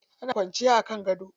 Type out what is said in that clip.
Ana kwanciya a kan gado.